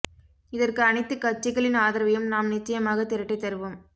இதற்கு அனைத்து கட்சிகளின் ஆதரவையும் நாம் நிச்சயமாக திரட்டி தருவோம்